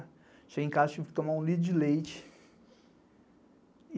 Cheguei em casa e tive que tomar um litro de leite.